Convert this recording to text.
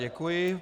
Děkuji.